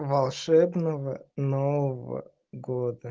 волшебного нового года